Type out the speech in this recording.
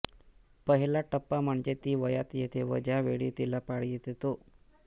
पहिला टप्पा म्हणजे ती वयात येते व ज्या वेळी तिला पाळी येते तो